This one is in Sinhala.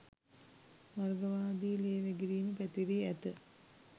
වර්ගවාදී ලේ වැගිරීම පැතිරී ඇත